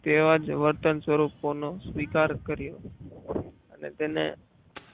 તેવા જ વર્તન સ્વરૂપોનો વિકાસ કર્યો અને તેને